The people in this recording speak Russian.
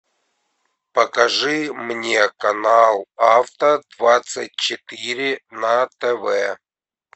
покажи мне канал авто двадцать четыре на тв